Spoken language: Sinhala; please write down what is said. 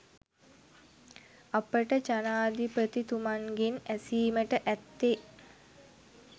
අපට ජනාධිපතිතුමන්ගෙන් ඇසීමට ඇත්තේ